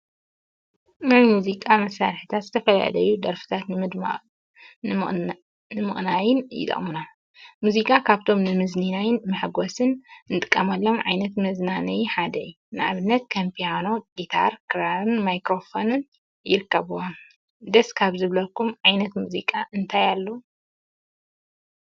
ናይ ሙዚቃ መሳርሒታት ዝተፈላለዩ ደርፊታት ንምድማቅን ንምቅናይን ይጠቅሙና፡፡ ሙዚቃ ካብቶም ንመዝናነይን ንመሐጎሲን እንጥቀመሎም ዓይነት መዝናነይ ሓደ እዩ፡፡ ንአብነት ከም ፒያኖ፣ ጊታር፣ ክራርን ማይክሮፎንን ይርከቡዎም፡፡ ደስ ካብ ዝብለኩም ዓይነት ሙዚቃ እንታይ አሎ?